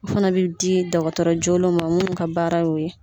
O Fana bɛ di dɔgɔtɔrɔ jɔlenw ma munnu ka baara o ye.